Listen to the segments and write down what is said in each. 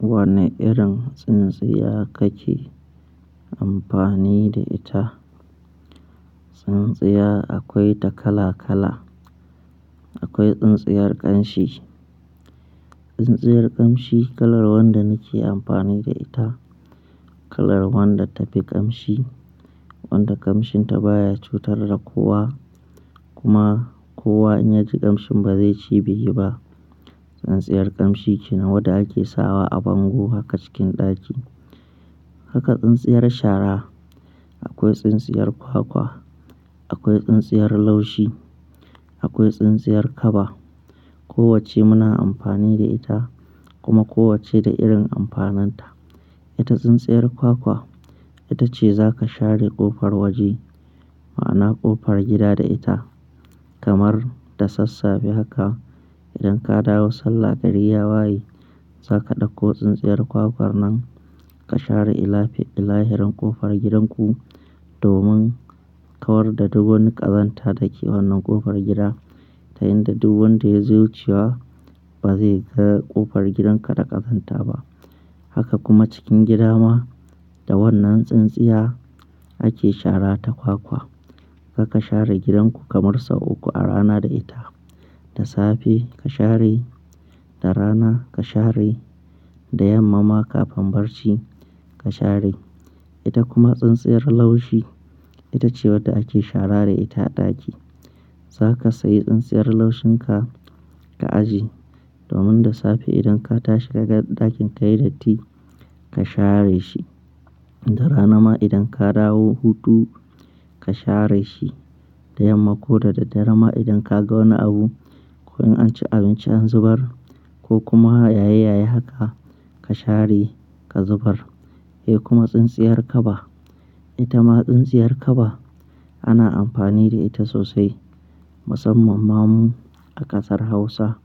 Wane irin tsintsiya kake amfani da ita? Tsintsiya akwai ta kala kala. Akwai tsintsiyar ƙanshi. Tsintsiyar ƙamshi kalar wanda nake amfani da ita, kalar wanda ta fi ƙamshi, wanda ƙamshin ta baya cutar da kowa kuma kowa in ya ji ƙamshin ba zai ce bai yi ba. Tsintsiyar kamshi ke nan wadda ake sawa a bango haka cikin ɗaki. Haka tsintsiyar shara. Akwai tsintsiyar kwakwa, akwai tsintsiyar laushi, akwai tsintsiyar kaba. Kowacce muna amfani da ita kuma kowacce da irin amfanin ta. Ita tsintsiyar kwakwa, ita ce za ka share ƙofar waje, ma'ana ƙofar gida da ita. Kamar da sassafe haka idan ka dawo sallah gari ya waye, za ka ɗauko tsintsiyar kwakwar nan ka share illafe, illahirin ƙofar gidan ku domin kawar da duk wani ƙazanta da ke wannan ƙofar gida. Ta yinda duk wanda ya zo wucewa ba zai ga ƙofar gidanka da ƙazanta ba. Haka kuma cikin gida ma da wannan tsintsiya ake shara ta kwakwa. Haka ka share gidan ku kamar sau uku a rana da ita. Da safe ka share, da rana ka share, da yamma ma kafin barci ka share. Ita kuma tsintsiyar laushi, ita ce wadda ake shara da ita a ɗaki. Za ka sayi tsintsiyar laushin ka, ka ajiye domin da safe idan ka tashi ka ga ɗakin ka yai datti, ka share shi. Da rana ma idan ka dawo hutu ka share shi. Da yamma ko da daddare ma idan ka ga wani abu ko in an ci abinci an zubar ko kuma yaye yaye haka, ka share ka zubar. Eh kuma tsintsiyar kaba. Ita ma tsintsiyar kaba ana amfani da ita sosai musamman ma mu a ƙasar Hausa.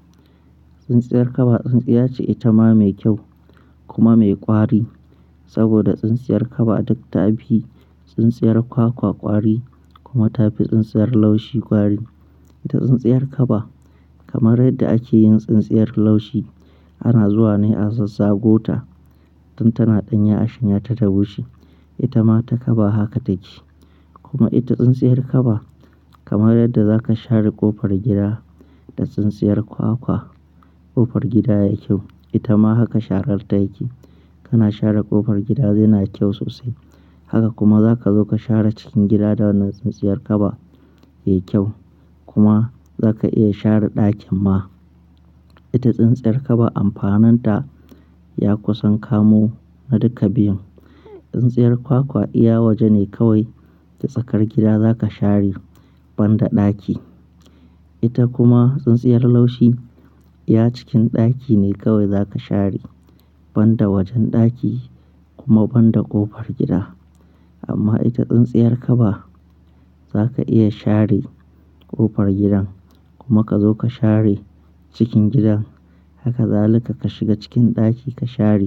Tsintsiyar kaba tsintsiya ce, ita ma mai kyau kuma mai ƙwari saboda tsintsiyar kaba duk ta fi tsintsiyar kwakwa ƙwari kuma ta fi tsintsiyar laushi ƙwari. Ita tsintsiyar kaba kamar yadda ake yin tsintsiyar laushi, ana zuwa ne a zazzago ta tun tana ɗanya a shanya ta bushe. Ita ma ta kaba haka take. Kuma ita tsintsiyar kaba kamar yadda za ka share ƙofar gida da tsintsiyar kwakwa, ƙofar gida ya yi kyau. Ita ma haka sharar ta yake. Kana share ƙofar gida zai na kyau sosai. Haka kuma za ka zo ka share cikin gida da wannan tsintsiyar kaba, ya yi kyau. Kuma za ka iya share ɗakin ma. Ita tsintsiyar kaba amfanin ta ya kusan kamo na duka biyun. Tsintsiyar kwakwa iya waje ne kawai, da tsakar gida za ka share banda ɗaki. Ita kuma tsintsiyar laushi iya cikin ɗaki ne kawai za ka share banda wajen ɗaki kuma banda ƙofar gida. Amma ita tsintsiyar kaba za ka iya share ƙofar gidan kuma ka zo ka share cikin gidan. Haka za ka shiga cikin ɗaki ka share.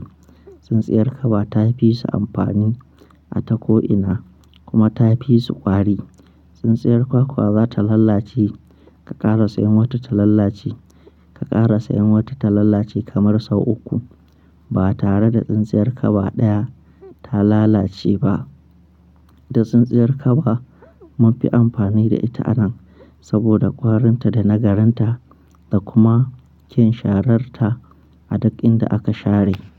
Tsintsiyar kaba ta fi su amfani a tako ina kuma ta fi su ƙwari. Tsintsiyar kwakwa za ta lalace. Ka ƙara sayan wata ta lalace, ka ƙara sayan wata ta lalace kamar sau uku ba tare da tsintsiyar kaba ɗaya ta lalace ba. Da tsintsiyar kaba mun fi amfani da ita anan saboda ƙwarin ta da nagarin ta da kuma kyan sharar ta a duk inda aka share.